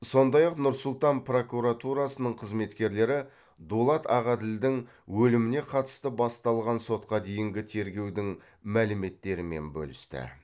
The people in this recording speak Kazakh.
сондай ақ нұр сұлтан прокуратурасының қызметкерлері дулат ағаділдің өліміне қатысты басталған сотқа дейінгі тергеудің мәліметтерімен бөлісті